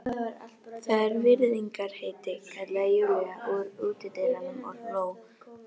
Það er virðingarheiti, kallaði Júlía úr útidyrunum og hló.